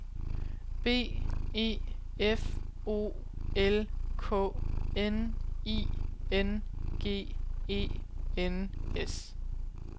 B E F O L K N I N G E N S